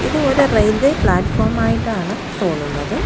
ഇത് ഒരു railway platform ആയിട്ടാണ് തോന്നുന്നത്.